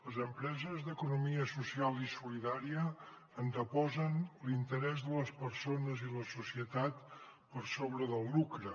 les empreses d’economia social i solidària anteposen l’interès de les persones i la societat per sobre del lucre